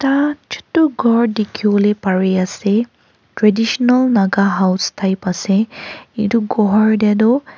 aa chotu gour dekhi bole Pari ase traditional naga house type ase etu gour te tu--